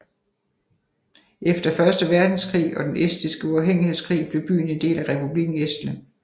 Efter Første Verdenskrig og den estiske uafhængighedskrig blev byen en del af Republikken Estland